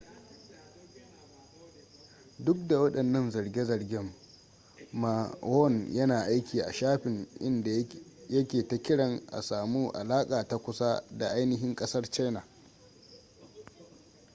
duk da wadannan zarge-zargen ma won yana aiki a shafin inda yake ta kiran a samu alaka ta kusa da ainihin kasar china